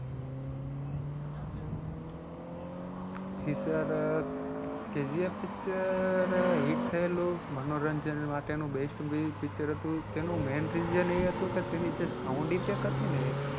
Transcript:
જી sirKGFpicture hit થયેલું મનોરંજન માટે નું best picture હતું તેનું main reason એ હતું કે તેની જે sound effect હતી ને